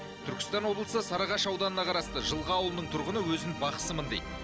түркістан облысы сарыағаш ауданына қарасты жылға ауылының тұрғыны өзін бақсымын дейді